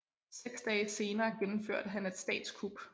Seks dage senere gennemførte han et statskup